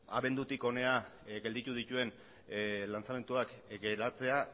abendutik hona gelditu dituen lanzamenduak geratzea